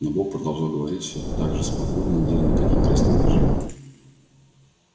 но бог продолжал говорить все так же спокойно не делая никаких резких движений